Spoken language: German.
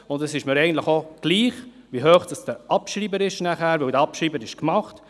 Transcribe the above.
Wie hoch der Abschreiber dann sein wird, ist mir egal, weil er bereits getätigt ist.